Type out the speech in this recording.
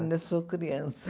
Ainda sou criança.